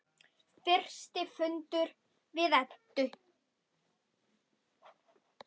Fyrsti fundur við Eddu.